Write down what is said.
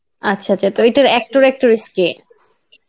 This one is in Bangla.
আচ্ছা আচ্ছা তো এইটার Actor Actress কে?